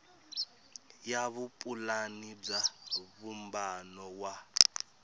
ya vupulani bya vumbano wa